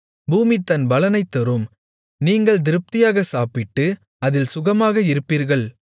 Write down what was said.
பூமி தன் பலனைத் தரும் நீங்கள் திருப்தியாகச் சாப்பிட்டு அதில் சுகமாகக் குடியிருப்பீர்கள்